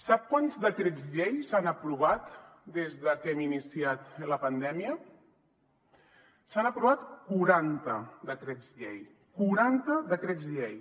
sap quants decrets llei s’han aprovat des de que hem iniciat la pandèmia s’han aprovat quaranta decrets llei quaranta decrets llei